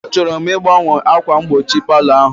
Achọrọ m ịgbanwe ákwà mgbochi palọ ahụ